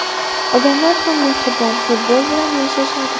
Odamlar ham mehribon, futbol bilan yashashadi.